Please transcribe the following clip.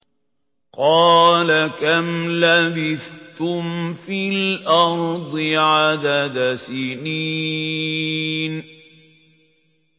قَالَ كَمْ لَبِثْتُمْ فِي الْأَرْضِ عَدَدَ سِنِينَ